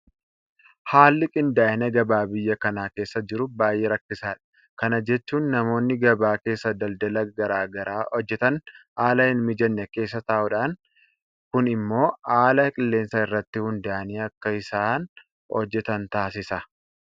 Haalli qindaa'ina gabaa biyya kana keessa jiru baay'ee rakkisaadha. Kana jechuun namoonni gabaa keessaa daldala garaa garaa hojjetan haala hinmijanne keessa ta'uudhaani kun immoo haala qilleensaa irratti hundaa'anii akka isaan hojjetan taasisa.